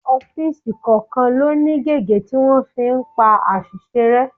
Ọ́fíìsì kọ̀ọ̀kan ló ní gege tí wọ́n fi ń pa àṣìṣe rẹ.